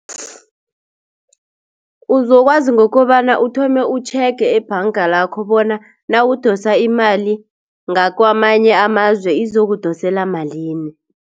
Uzokwazi ngokobana uthome utjhege ebhanga lakho bona nawudosa imali ngakwamanye amazwe izokudosela malini.